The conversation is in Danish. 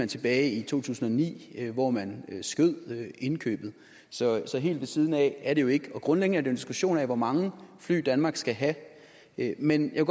tilbage i to tusind og ni hvor man udskød indkøbet så så helt ved siden af er det jo ikke og grundlæggende er det en diskussion om hvor mange fly danmark skal have men jeg